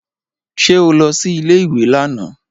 Ṣé o lọ sí ilé ìwé lánàá?